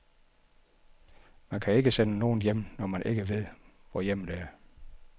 Man kan ikke sende nogen hjem, når man ikke ved, hvor hjemmet er.